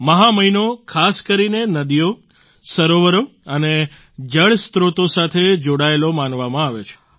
મહા મહિનો ખાસ કરીને નદીઓ સરોવરો અને જળસ્ત્રોત સાથે જોડાયેલો માનવામાં આવે છે